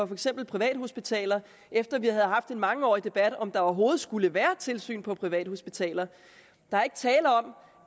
for eksempel privathospitaler efter at vi havde haft en mangeårig debat om om der overhovedet skulle være tilsyn på privathospitaler der er ikke tale om